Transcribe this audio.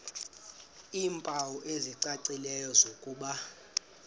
iimpawu ezicacileyo zokuba